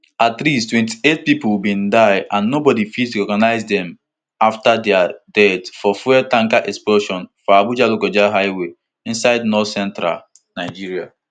at least twenty-eight pipo bin die and and nobodi fit recognize dem afta dia death for fuel tanker explosion for abujalokoja highway inside northcentral nigeria